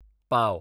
पाव